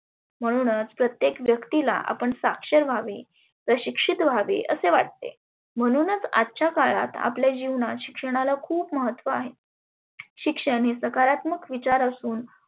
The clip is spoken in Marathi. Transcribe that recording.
म्हणुनच प्रत्येक व्यक्तिला आपण साक्षर व्हावे शिक्षीत व्हावे असे वाटते. म्हणुनच आजच्या काळात आपल्या जिवणात शिक्षणाला खुप महत्व आहे. शिक्षण हे सकारात्मक विचार असुन